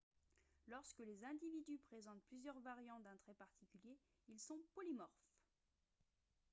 lorsque les individus présentent plusieurs variantes d'un trait particulier ils sont polymorphes